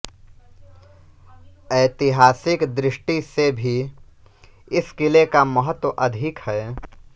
ऐतिहासिक दृष्टि से भी इस किले का महत्व अधिक है